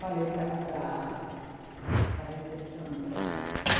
Falei para para para a recepcionista.